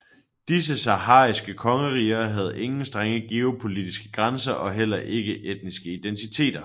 Disse sahariske kongeriger havde ingen strenge geopolitiske grænser og heller ikke etniske identiter